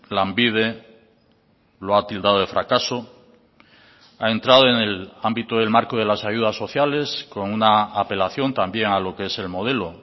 lanbide lo ha tildado de fracaso ha entrado en el ámbito del marco de las ayudas sociales con una apelación también a lo que es el modelo